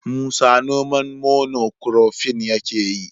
Musa noman mono kurofin yake yi.